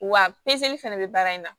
Wa pezeli fɛnɛ bɛ baara in na